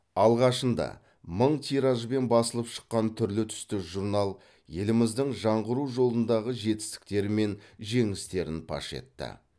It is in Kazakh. алғашында мың тиражбен басылып шыққан түрлі түсті журнал еліміздің жаңғыру жолындағы жетістіктері мен жеңістерін паш етті